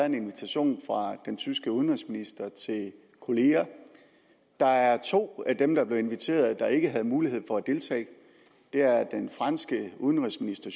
en invitation fra den tyske udenrigsminister til kolleger der er to af dem der er blevet inviteret der ikke havde mulighed for at deltage det er den franske udenrigsminister